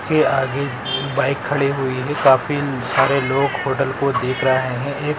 के आगे बाइक खड़ी हुई है काफी सारे लोग होटल को देख राहे है।